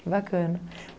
Que bacana.